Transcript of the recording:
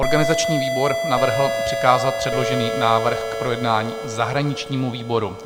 Organizační výbor navrhl přikázat předložený návrh k projednání zahraničnímu výboru.